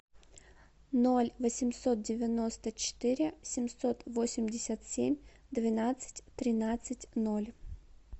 ноль восемьсот девяносто четыре семьсот восемьдесят семь двенадцать тринадцать ноль